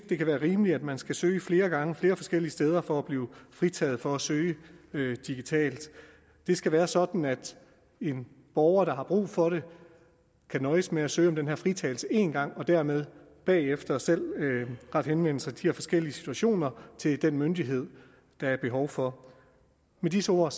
det kan være rimeligt at man skal søge flere gange flere forskellige steder for at blive fritaget for at søge digitalt det skal være sådan at en borger der har brug for det kan nøjes med at søge om den her fritagelse en gang og dermed bagefter selv rette henvendelse i de her forskellige situationer til den myndighed der er behov for med disse ord